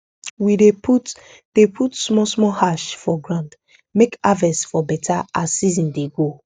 we dey put dey put small small ash for ground make harvest for beta as season dey go